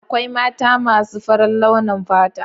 Akwai mata masu faran launin fata.